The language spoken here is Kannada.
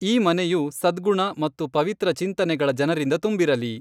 ಈ ಮನೆಯು ಸದ್ಗುಣ ಮತ್ತು ಪವಿತ್ರ ಚಿಂತನೆಗಳ ಜನರಿಂದ ತುಂಬಿರಲಿ.